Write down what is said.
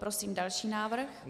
Prosím další návrh.